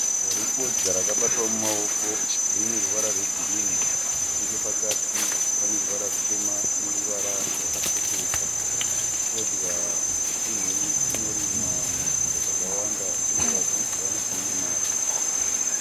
Shizha refodya rakabatwa mumaoko rine ruvara rwegirini nechepakati pane ruvara rutema neruvara rwakatsukuruka. Fodya chinhu chinorimwa munzvimbo dzakawanda uye vazhinji vanoti ine mari